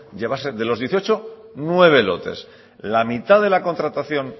llevarse de los dieciocho nueve lotes la mitad de la contratación